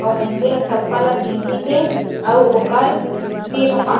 अउ मइनसे हे चप्पल ल पेंधिसे अउ ओकर सिर पा--